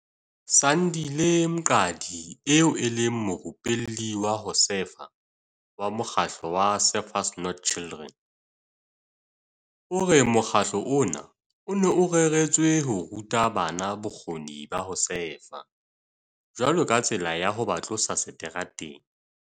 Sandile Mqadi eo e leng morupelli wa ho sefa wa mokgatlo wa Surfers Not Street Children, o re mokgatlo ona o ne o reretswe ho ruta bana bokgoni ba ho sefa jwalo ka tsela ya ho ba tlosa seterateng.